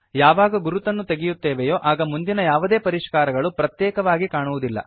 ಯಾವಾಗ ಗುರುತನ್ನು ತೆಗೆಯುತ್ತೇವೆಯೋ ಆಗ ಮುಂದಿನ ಯಾವುದೇ ಪರಿಷ್ಕಾರಗಳು ಪ್ರತ್ಯೇಕವಾಗಿ ಕಾಣಿಸುವುದಿಲ್ಲ